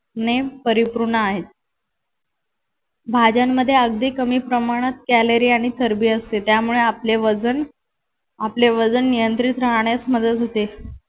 ने परिपूर्ण आहे भाज्यांमध्ये अगदी कमी प्रमाणात कॅलरी आणि चरबी असते त्यामुळे आपले वजन आपले वजन नियंत्रित राहण्यास मदत होते.